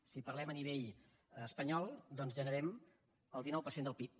si parlem a nivell espanyol en generem el dinou per cent del pib